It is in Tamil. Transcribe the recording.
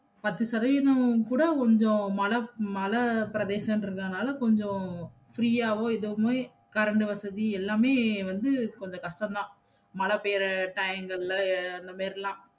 பத்து சதவீதம் கூட கொஞ்சம் மல~ மலைபிரதேசம்ன்றனால கொஞ்சம் free யாவோ எதுமே கரண்ட்டு வசதி எல்லாமே வந்து கொஞ்சம் கஷ்டம்தான் மழை பெய்ர time லல்ல அந்த மெரிலாம்